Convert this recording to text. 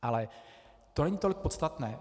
Ale to není tolik podstatné.